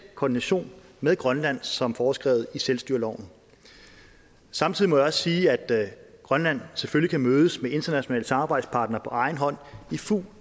koordination med grønland som foreskrevet i selvstyreloven samtidig må jeg også sige at grønland selvfølgelig kan mødes med internationale samarbejdspartnere på egen hånd i fuld